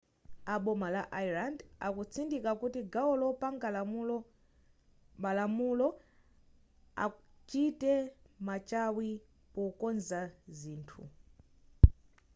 a boma la ireland akutsindika kuti gawo lopanga malamulo achite machawi pokonza zithu